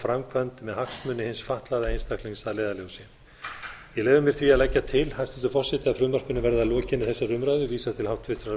framkvæmd með hagsmuni hins fatlaða einstaklings að leiðarljósi ég leyfi mér því að leggja til hæstvirtur forseti að frumvarpinu verði að lokinni þessari umræðu vísað til háttvirtrar